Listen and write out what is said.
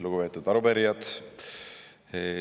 Lugupeetud arupärijad!